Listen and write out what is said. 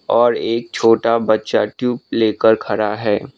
और एक छोटा बच्चा ट्यूब लेकर खड़ा है।